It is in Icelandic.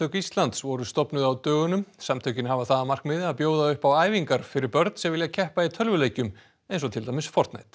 Íslands voru stofnuð á dögunum samtökin hafa það að markmiði að bjóða upp á æfingar fyrir börn sem vilja keppa í tölvuleikjum eins og til dæmis